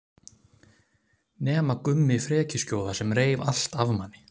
Nema Gummi frekjuskjóða sem reif allt af manni.